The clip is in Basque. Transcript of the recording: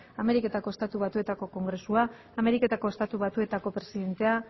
ameriketako estatu batuetako kongresua ameriketako estatu batuetako presidentea